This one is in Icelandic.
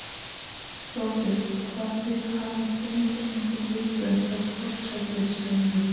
Þorbjörn: Hafið þið fengið einhver viðbrögð hjá formannsefnunum?